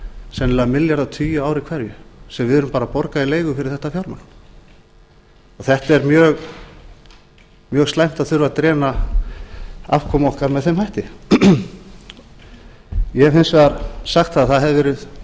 sennilega milljarðatugi á ári hverju sem við erum að borga í leigu fyrir þetta fjármagn þetta er mjög slæmt að þurfa að afkomu okkar með þeim hætti ég hef hins vegar sagt að það hafi verið